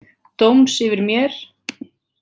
Dóms yfir mér.